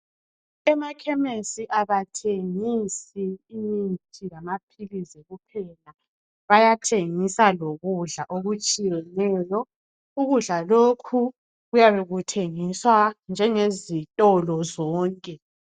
Emakhemesi abathengisi imithi lamaphilizi kuphela bayathengisa lokudla okutshiyeneyo ukudla lokhu kuyabe kuthengiswa njengezitolo zonke.